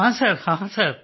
ਹਾਂ ਸਰ ਹਾਂ ਸਰ